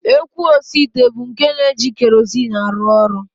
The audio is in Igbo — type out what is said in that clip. Ekwu osiite bụ nke na-eji kerozin arụ ọrụ